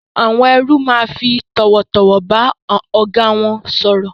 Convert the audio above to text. Àwon erú ma fi tòwòtòwò ba ògá won sòrò